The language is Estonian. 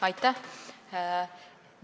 Aitäh!